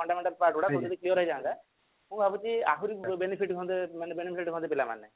fundamental topic ଗୁଡା clear ହେଇଯାନ୍ତା ମୁଁ ଭାବୁଛି ଆହୁରି benefit ହୁଅନ୍ତା ମାନେ benefit ହୁଅନ୍ତେ ପିଲାମାନେ